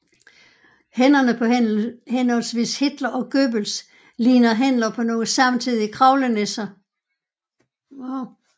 Hænderne på henholdsvis Hitler og Goebbels ligner hænder på nogle samtidige kravlenisser